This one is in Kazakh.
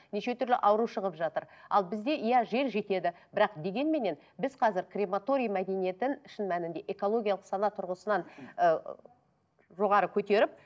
неше түрлі ауру шығып жатыр ал бізде иә жер жетеді бірақ дегенменен біз қазір крематория мәдениетін шын мәнінде экологиялық сана тұрғысынан ы жоғары көтеріп